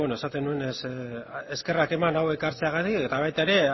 bueno esaten nuenez eskerrak eman hau ekartzeagatik eta baita ere